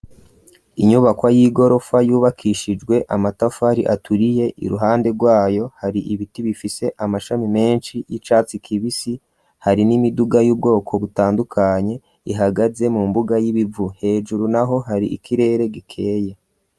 Inyubako y'igorofa, yubakishijwe amatafari, aturiye; iruhande rwayo, hari ibiti, bifise amashami, menshi, y'icatsi kibisi; hari n'imiduga, y'ubwoko butandukanye, ihagaze mu mbuga, y'ibivu hejuru naho, hari ikirere gikeye.